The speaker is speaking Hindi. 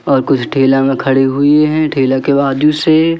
और कुछ ठेला में खड़ी हुई है ठेला के बाजू से--